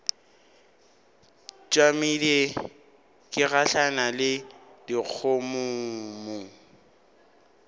tšamile ke gahlana le dikgomommuu